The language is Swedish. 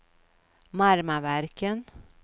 Marmaverken